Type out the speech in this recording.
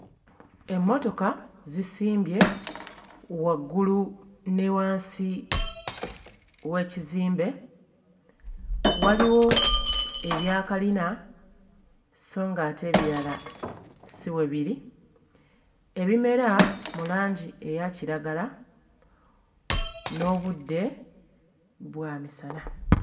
Emmotoka zisimbye waggulu ne wansi w'ekizimbe. Waliwo ebyakalina sso ng'ate ebirala si bwe biri. Ebimera mu langi eya kiragala n'obudde bwamisana.